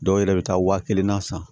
Dɔw yɛrɛ bɛ taa waa kelen na san